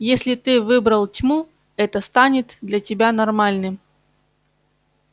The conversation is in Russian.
если ты выбрал тьму это станет для тебя нормальным